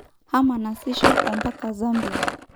Hama nasisho ompaka Zambia.